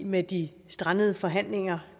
med de strandede forhandlinger